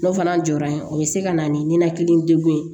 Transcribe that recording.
N'o fana jɔra yen o bɛ se ka na ni ninakili degun ye